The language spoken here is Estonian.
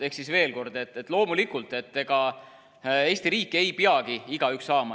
Ehk siis veel kord: loomulikult, ega Eesti riiki ei peagi igaüks saama.